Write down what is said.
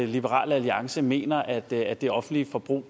liberal alliance mener at det at det offentlige forbrug